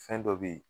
Fɛn dɔ be ye